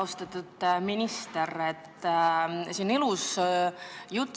Austatud minister!